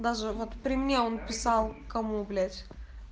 даже вот при мне он писал кому блять